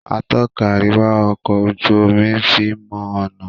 Atọ́ka àríwá ọkọ ojú omí fín mọ ọnà.